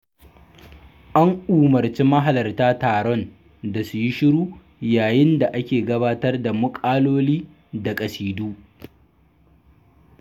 An umarci mahalarta taron da su yi shiru yayin da ake gabatar da muƙaloli da ƙasidu.